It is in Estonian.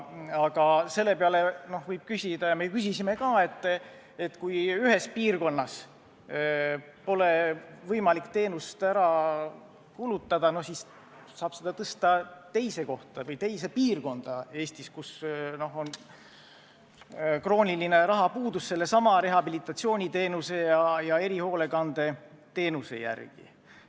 Aga selle peale võib küsida – ja me küsisime ka –, et kas siis, kui ühes piirkonnas pole võimalik teenust ära kulutada, saab seda tõsta teise kohta või teise piirkonda Eestis, kus on krooniline rahapuudus sellesama rehabilitatsiooniteenuse ja erihoolekandeteenuse osutamisel.